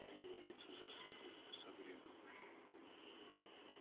договориться за суку с абреком